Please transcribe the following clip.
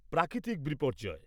প্রাকৃতিক বিপর্যয়